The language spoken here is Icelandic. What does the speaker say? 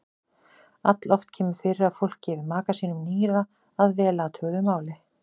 Alloft kemur fyrir að fólk gefi maka sínum nýra að vel athuguðu máli.